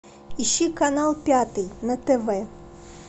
ищи канал пятый на тв